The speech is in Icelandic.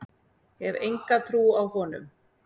Hef enga trú á honum.